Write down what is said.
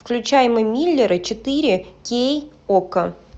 включай мы миллеры четыре кей окко